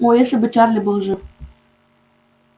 о если бы чарли был жив